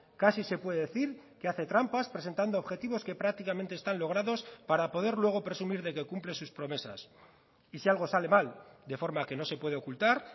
casi se puede decir que hace trampas presentando objetivos que prácticamente están logrados para poder luego presumir de que cumple sus promesas y si algo sale mal de forma que no se puede ocultar